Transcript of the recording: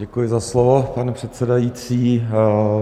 Děkuji za slovo, pane předsedající.